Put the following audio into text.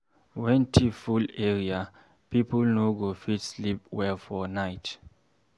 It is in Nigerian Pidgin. When thief full area, pipo no go fit sleep well for night.